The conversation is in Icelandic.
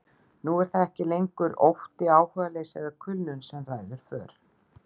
Nú er það ekki lengur ótti, áhugaleysi eða kulnun sem ræður för.